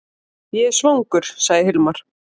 Ég er svangur, sagði Hilmar.